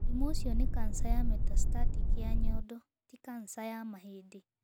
Mũrimũ ũcio nĩ kanca ya metastatic ya nyondo, ti kanca ya mahĩndĩ.